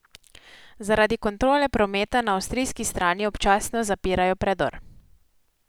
Zaradi kontrole prometa na avstrijski strani občasno zapirajo predor.